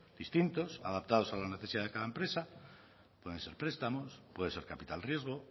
distintos adaptados a la necesidad de cada empresa pueden ser prestamos puede ser capital riesgo